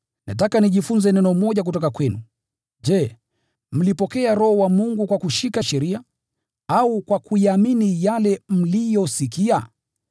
Nataka nijifunze neno moja kutoka kwenu: Je, mlipokea Roho wa Mungu kwa kushika sheria, au kwa kuyaamini yale mliyosikia?